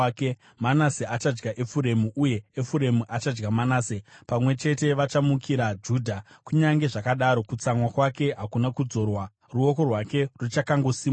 Manase achadya Efuremu uye Efuremu achadya Manase; pamwe chete vachamukira Judha. Kunyange zvakadaro, kutsamwa kwake hakuna kudzorwa, ruoko rwake ruchakangosimudzwa.